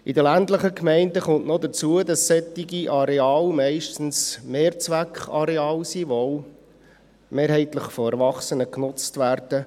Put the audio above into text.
In den ländlichen Gemeinden kommt noch dazu, dass solche Areale meistens Mehrzweckareale sind, die auch mehrheitlich von Erwachsenen genutzt werden.